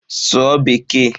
Sụọ bekee!